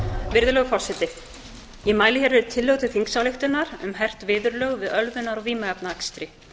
virðulegur forseti ég mæli hér fyrir tillögu til þingsályktunar um hert viðurlög við ölvunar og vímuefnaakstri